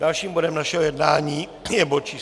Dalším bodem našeho jednání je bod číslo